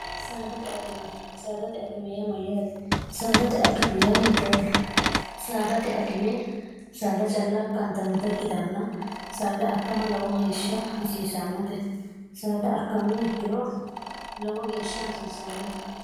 sdte kisaadate akimey mayyaate saadate akime ya hiittoote saadate akime saada calla akkantannota ikkitanna saada akkama lowo geeshsha hasiisannote saada akkamme hakkiro lowo geeshsha hasiisanno